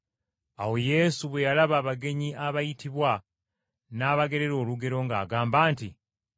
Awo Yesu bwe yalaba abagenyi abaayitibwa n’abagerera olugero ng’agamba nti,